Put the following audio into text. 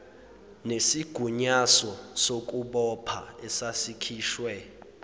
nesigunyaso sokubopha esasikhishwe